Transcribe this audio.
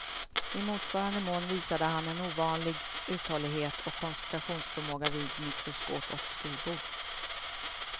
I motsvarande mån visade han en ovanlig uthållighet och koncentrationsförmåga vid mikroskop och skrivbord.